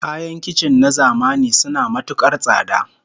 Kayan kicin na zamani suna matukar tsada